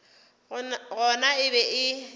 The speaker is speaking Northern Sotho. gona e be e le